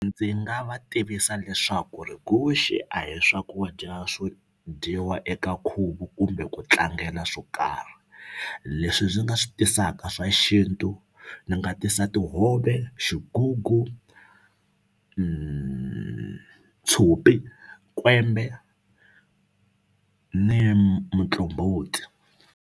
Ndzi nga va tivisa leswaku ri guxe a hi swakudya swo dyiwa eka nkhuvo kumbe ku tlangela swo karhi leswi ndzi nga swi tisaka swa xintu ndzi nga tisa tihove xigugu tshopi kwembe ni muqombhoti.